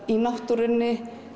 í náttúrunni